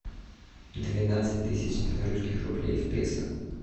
двенадцать тысяч белорусских рублей в песо